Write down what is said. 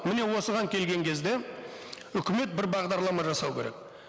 мыне осыған келген кезде үкімет бір бағдарлама жасау керек